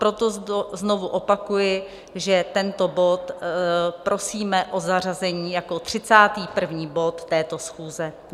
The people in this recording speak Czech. Proto znovu opakuji, že tento bod prosíme o zařazení jako 31. bod této schůze.